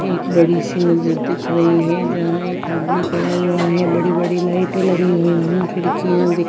एक बड़ी सी मस्जिद दिख रही है जहाँ एक आदमी खड़ा हुआ है बड़ी-बड़ी लाइटें लगी हुई हैं खिड़की दिख --